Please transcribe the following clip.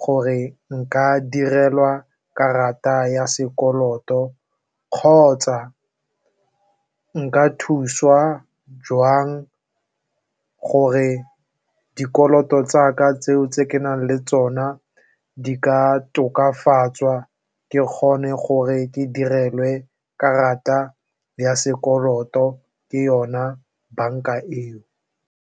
gore nka direlwa karata ya sekoloto kgotsa nka thuswa jwang gore dikoloto tsaka tseo tse ke nang le tsona di ka tokafatswa ke kgone gore ke direlwe karata ya sekoloto ke yona banka eo.